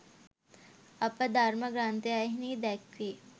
අප ධර්ම ග්‍රන්ථයන්හි දැක්වේ.